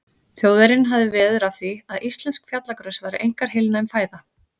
Þjóðverjinn hafði veður af því, að íslensk fjallagrös væru einkar heilnæm fæða.